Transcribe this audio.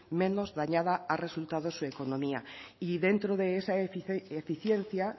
menos dañada ha resultado su economía y dentro de esa eficiencia